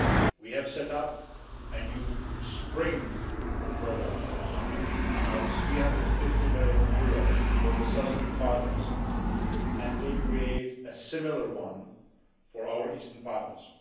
We have set up a new spring programme of EUR 350 million for the southern partners and will create a similar one for our Eastern partners.